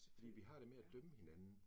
Fordi vi har det med at dømme hinanden